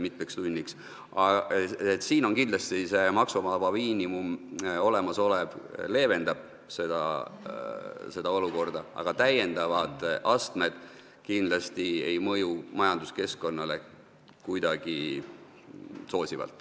Kindlasti see olemasolev maksuvaba miinimum leevendab seda olukorda, aga lisaastmed ei mõju majanduskeskkonnale kindlasti soosivalt.